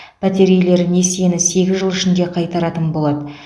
пәтер иелері несиені сегіз жыл ішінде қайтаратын болады